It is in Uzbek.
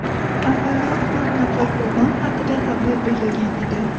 Avvalroq to‘rt nafar qurbon haqida xabar berilgan edi .